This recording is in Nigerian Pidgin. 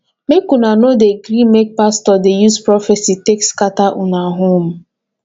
make una no dey gree make pastor dey use prophesy take scatter una home